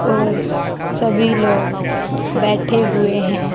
और सभी लोग बैठे हुए हैं।